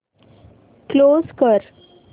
close कर